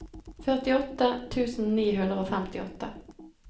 førtiåtte tusen ni hundre og femtiåtte